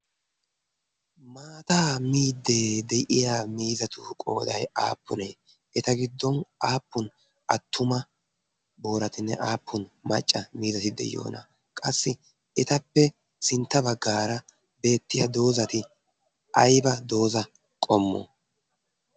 maataa miiddee de7iya miizatu qoodai aappunee? eta giddon aappun attuma booratinne aappun macca miizati de7iyoona? qassi etappe sintta baggaara beettiya doozati aiba dooza qommo?